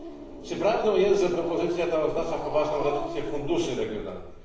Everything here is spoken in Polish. r. Czy prawdą jest, że propozycja ta oznacza poważną redukcję funduszy regionalnych?